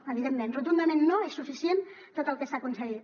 evidentment rotundament no és suficient tot el que s’ha aconseguit